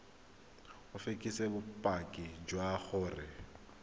o fekese bopaki jwa gore